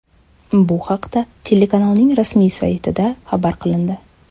Bu haqda telekanalning rasmiy saytida xabar qilindi .